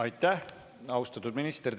Aitäh, austatud minister!